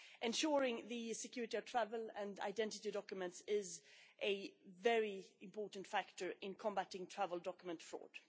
Ensuring the security of travel and identity documents is a very important factor in combating travel document fraud.